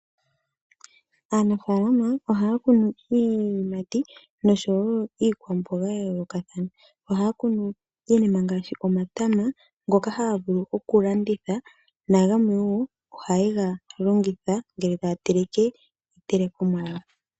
Aanafaalama ohaya kunu iiyimati noshowo iikwamboga ya yoolokathana. Ohaya kunu iinima ngaashi omatama ngoka haya vulu oku landitha nagamwe wo haye ga longitha ngele taya teleke iitelekomwa yawo.